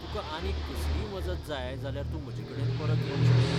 तुका आनीक कसलीय मजत जाय जाल्यार तूं म्हजेकडेन परत येवंक शकता.